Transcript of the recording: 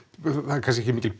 það er kannski ekki mikil